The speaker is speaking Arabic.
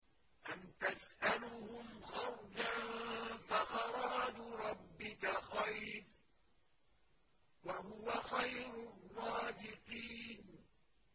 أَمْ تَسْأَلُهُمْ خَرْجًا فَخَرَاجُ رَبِّكَ خَيْرٌ ۖ وَهُوَ خَيْرُ الرَّازِقِينَ